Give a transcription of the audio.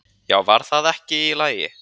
"""Já, var það ekki í lagi?"""